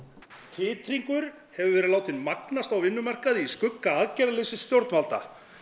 titringur hefur verið látinn magnast á vinnumarkaði í skugga aðgerðarleysis stjórnvalda